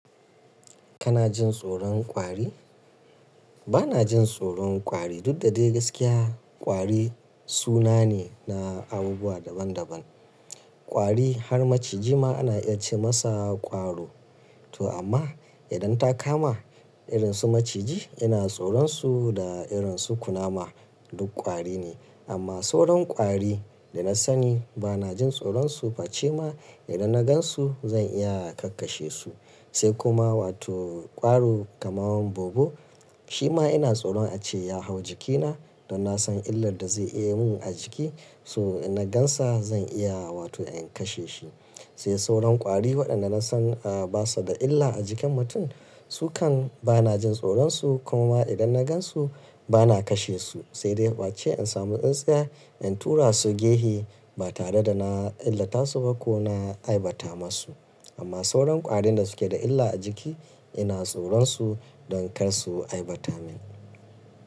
Kana jin tsoron ƙwari? Bana jin tsoron ƙwari, duk da dai gaskiya ƙwari suna ne na abubuwa daban daban. Ƙwari har maciji ma ana iya ce masa ƙwaro. To amma idan ta kama irin su maciji ina tsoron su da irin su kunama duk ƙwari ne. Amma sauran ƙwari da na sani bana jin tsoron su, face ma idan na gan su zan iya kakkashe su. Sai kuma wato ƙwaro kamar bobo, shi ma ina tsoron ace ya hau jikina don na san illar da zai iya yi mun a jiki. So ina gan sa zan iya wato in kashe shi. Sai sauran ƙwari waɗanda na san a ba su da illa a jikin mutum, su kan bana jin tsoron su kuma idan na gan su bana kashe su. Sai dai face in samu tsintsiya in tura su gehe ba tare da na illata su ba ko na aibata masu. Amma sauran ƙwarin da suke da illa a jiki ina tsoron su don kar su aibata min.